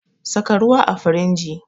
Saka ruwa a firinji